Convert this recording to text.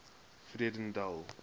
vredendal